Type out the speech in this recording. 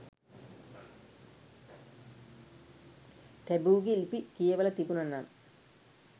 ටැබූගෙ ලිපි කියවල තිබුණ නම්